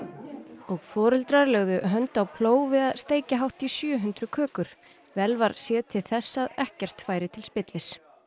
og foreldrar lögðu hönd á plóg við að steikja hátt í sjö hundruð kökur vel var séð til þess að ekkert færi til spillis